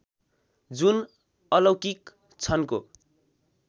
जुन अलौकिक छन्को